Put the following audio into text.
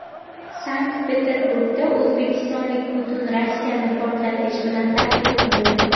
Sankt-Peterburgda o‘zbekistonlik butun Rossiyani portlatish bilan tahdid qildi.